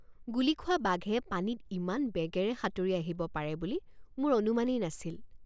গুলী খোৱা বাঘে পানীত ইমান বেগেৰে সাঁতুৰি আহিব পাৰে বুলি মোৰ অনুমানেই নাছিল।